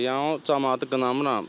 Yəni o camaatı qınamıram.